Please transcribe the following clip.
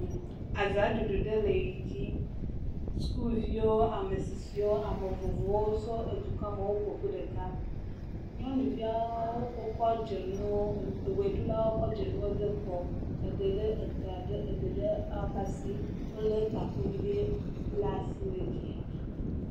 Azaɖuɖu ɖe edzi, sukuviwo, ametsitsiwo, ame vovovowo tso edukɔa me, woƒo ƒu ɖe ɖeka, nyɔnuviawo wokɔ dzonuwo, eʋeɖulawo kɔ dzonuwo de ekɔ, eɖe ɖe eta, eɖe ɖe asi, wolé takuvi ɖe la asi le giya.